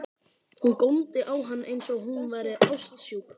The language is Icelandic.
Hún góndi á hann eins og hún væri ástsjúk.